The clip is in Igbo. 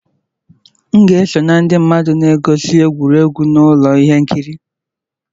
M ga-eso na ndị mmadụ na-egosi egwuregwu na ụlọ ihe nkiri.